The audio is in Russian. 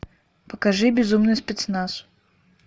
покажи безумный спецназ